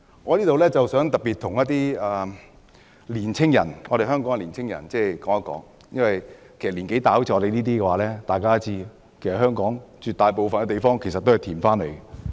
我想在此特別告訴香港的年輕人，而與我年紀相若的人都會知道，香港絕大部分土地都是填海而來的。